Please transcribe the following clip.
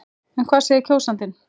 En hvað segir kjósandinn?